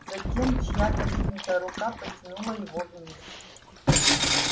затем чья-то вытянутая рука потянула его вниз